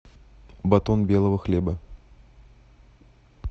батон белого хлеба